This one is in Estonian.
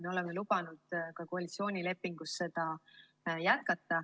Me oleme koalitsioonilepingus lubanud seda ka jätkata.